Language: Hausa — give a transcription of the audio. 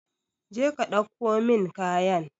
Je ka dauko min kayan.